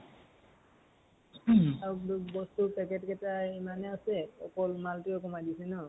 আৰু বস্তু ৰ packet কেইতা এমানেই আছে, অকল মাল তোৱে কমাই দিছে ন ?